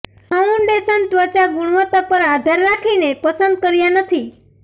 foundation ત્વચા ગુણવત્તા પર આધાર રાખીને પસંદ કર્યા નથી